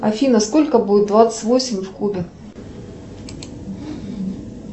афина сколько будет двадцать восемь в кубе